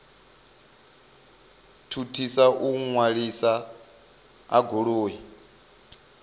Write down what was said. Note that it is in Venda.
thuthisa u ṅwaliswa ha goloi